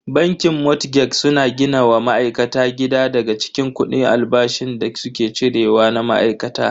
Bankin motgeg suna gina wa ma'aikata gida daga cikin kudi albashin da suke cire wa na ma'aikata.